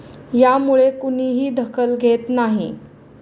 यामुळे कुणीही दखल घेत नाही.